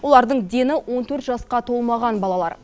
олардың дені он төрт жасқа толмаған балалар